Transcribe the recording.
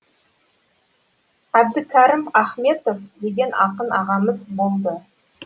әбдікәрім ахметов деген ақын ағамыз болды